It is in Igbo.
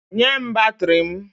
Nye m batrị m!